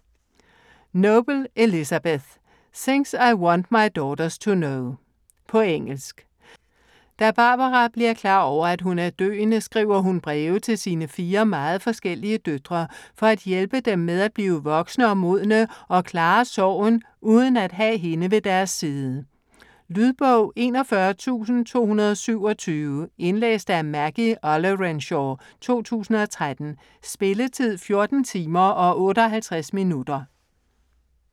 Noble, Elizabeth: Things I want my daughters to know På engelsk. Da Barbara bliver klar over, at hun er døende, skriver hun breve til sine fire meget forskellige døtre for at hjælpe dem med at blive voksne og modne og klare sorgen uden at have hende ved deres side. Lydbog 41227 Indlæst af Maggie Ollerenshaw, 2013. Spilletid: 14 timer, 58 minutter.